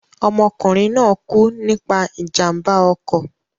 Ọmọkùnrin náà kú nípa ìjàmbá ọkọ̀.